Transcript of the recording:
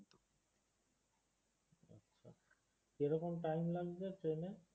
কি রকম time লাগবে train এ?